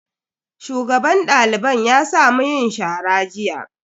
Shugaban daliban ya sa mu yin shara jiya.